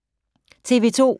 TV 2